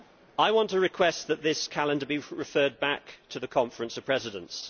I want to request that this calendar be referred back to the Conference of Presidents.